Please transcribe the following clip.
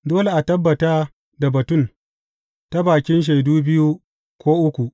Dole a tabbata da batun ta bakin shaidu biyu, ko uku.